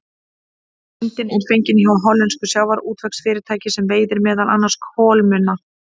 Myndin er fengin hjá hollensku sjávarútvegsfyrirtæki sem veiðir meðal annars kolmunna.